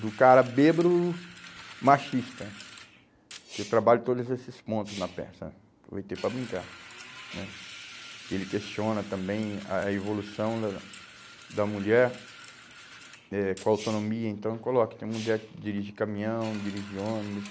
do cara bêbado machista, que eu trabalho todos esses pontos na peça, aproveitei para brincar né, que ele questiona também a evolução da da da mulher eh com autonomia, então eu coloco, tem mulher que dirige caminhão, dirige ônibus,